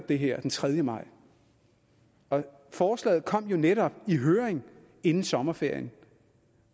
det her den tredje maj forslaget kom jo netop i høring inden sommerferien